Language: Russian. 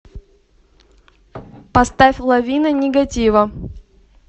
поставь лавина нигатива